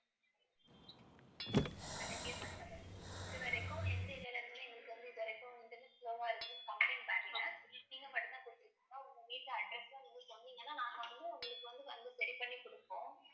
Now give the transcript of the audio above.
மண்டபம் இது வரைக்கும் எந்த area ல எங்களுக்கு வந்து இது வரைக்கும் நெட் slow வா இருக்குன்னு complaint வரல நீங்க மட்டும்தான் குடுத்திருக்கிங்க. உங்க வீட்டு address உ நீங்க சொன்னிங்கன்னா நாங்க வந்து உங்களுக்கு வந்து வந்து சரி பண்ணிகுடுப்போம்